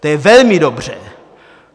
To je velmi dobře.